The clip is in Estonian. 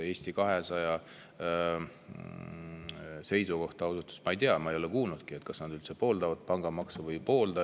Eesti 200 seisukohta ma ausalt öeldes ei tea, ma ei ole kuulnudki, kas nad pooldavad pangamaksu või ei poolda.